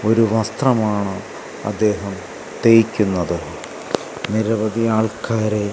ഒരു വസ്ത്രമാണ് അദ്ദേഹം തേയ്ക്കുന്നത് നിരവധി ആൾക്കാരെ--